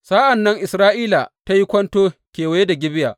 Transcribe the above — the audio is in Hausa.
Sa’an nan Isra’ila ta yi kwanto kewaya da Gibeya.